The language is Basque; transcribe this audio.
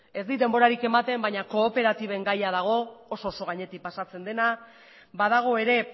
ez dit denborarik ematen baina kooperatiben gaia dago oso oso gainetik pasatzen dena badago ere